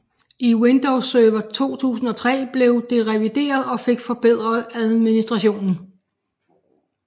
I Windows Server 2003 blev det revideret og fik forbedret administrationen